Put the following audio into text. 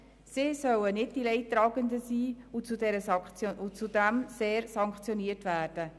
Sie sollen nicht die Leidtragenden sein und zu sehr sanktioniert werden.